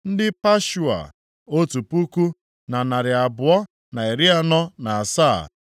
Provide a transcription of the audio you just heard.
ndị Pashua, otu puku, na narị abụọ na iri anọ na asaa (1,247),